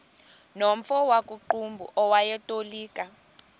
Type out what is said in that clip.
nomfo wakuqumbu owayetolika